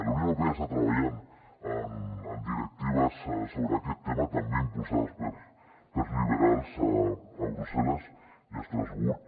la unió europea està treballant en directives sobre aquest tema també impulsades pels liberals a brusselles i a estrasburg